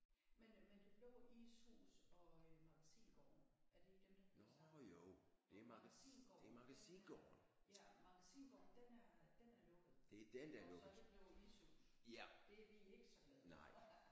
Men det men det Det Blå Ishus og øh Magasingaarden er det ikke dem der er flyttet sammen? Og Magasingaarden den er ja Magasingaarden den er den er lukket og så er det blevet ishus det er vi ikke så glade for